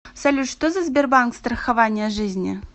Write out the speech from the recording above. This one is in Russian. салют что за сбербанк страхование жизни